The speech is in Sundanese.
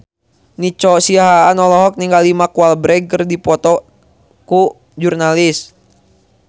Nico Siahaan olohok ningali Mark Walberg keur diwawancara